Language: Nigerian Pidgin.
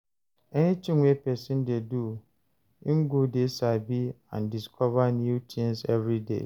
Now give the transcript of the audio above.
Anything wey persin de do im go de sabi and discover new things everyday